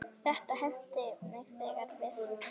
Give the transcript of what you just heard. Þetta henti mig þegar við